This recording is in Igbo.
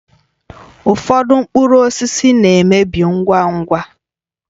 Ụfọdụ mkpụrụ osisi na-emebi ngwa ngwa